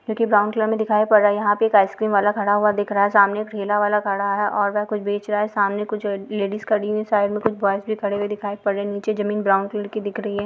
जो की brown colour में दिखाई पड़ रहा है यहाँ पे एक आइस क्रीम वाला खड़ा हुआ दिख रहा है सामने एक ठेला वाला खड़ा है और वह कुछ बेच रहा है सामने कुछ अ लेडीज़ खड़ी हुई है साइड में कुछ बॉयज भी खड़े हुए दिखाई पड़ रहे है नीचे जमीन ब्राउन कलर की दिख रही है।